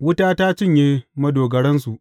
wuta ta cinye madogaransu.